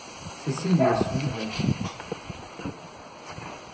Cecilie Solhaug